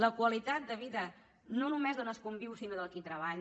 la qualitat de vida no només d’on es conviu sinó del qui treballa